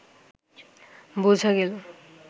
বোঝা গেল